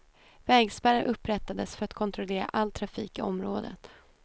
Vägspärrar upprättades för att kontrollera all trafik i området.